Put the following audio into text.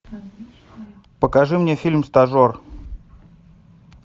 покажи мне фильм стажер